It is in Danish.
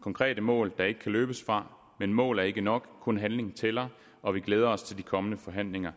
konkrete mål der ikke kan løbes fra men mål er ikke nok kun handling tæller og vi glæder os til de kommende forhandlinger